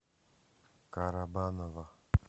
карабаново